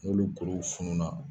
N'olu kuruw fununa